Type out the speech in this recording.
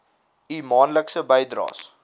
u maandelikse bydraes